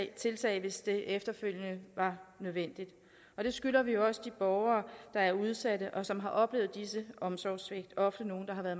tiltag hvis det efterfølgende var nødvendigt og det skylder vi også de borgere der er udsatte og som har oplevet disse omsorgssvigt og ofte nogle der har været